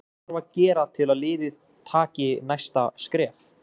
Hvað þarf að gera til að liðið taki næsta skref?